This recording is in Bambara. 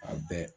A bɛɛ